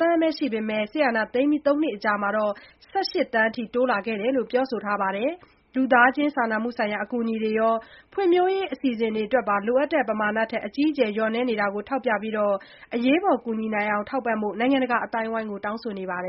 သန်းပဲ ရှိခဲ့ပေမဲ့ အာဏာသိမ်းပြီး သုံးနှစ်အကြာမှာ ၁၈ သန်းအထိ တိုးလာခဲ့တာကို ပြောဆိုထားပါတယ်။ လူသားချင်းစာနာမှုအကူအညီရော ဖွံဖြိုးရေး အစီအစဉ်တွေအတွက်ပါ လိုအပ်တဲ့ ပမာဏထက် အကြီးအကျယ် လျော့နည်းနေတာကို ထောက်ပြပြီး အရေးပေါ် ကူညီနိုင်အောင် ထောက်ပံ့ဖို့ နိုင်ငံတကာ အသိုင်းအဝန်းကို တောင်းဆိုနေပါတယ်